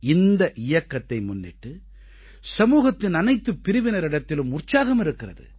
இந்த இயக்கத்தை முன்னிட்டு சமூகத்தின் அனைத்துப் பிரிவினரிடத்திலும் உற்சாகம் இருக்கிறது